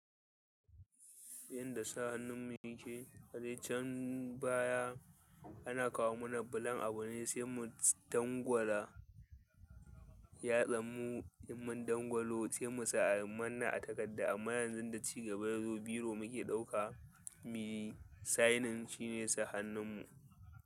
Yanda sa hannun mu yake. A je can baya ana kawo mana bulun abu ne sai mu dangwala yatsarmu, in min dangwalo sai mu sa a manna a takarda. Amma yanzun da ci gaba ya zo, biro muke ɗauka, mu yi sainin shine sa hannun mu.